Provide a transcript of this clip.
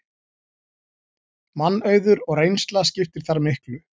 Mannauður og reynsla skiptir þar miklu